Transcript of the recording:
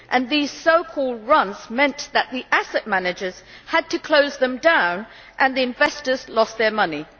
These so called runs meant that the asset managers had to close them down and the investors lost their money.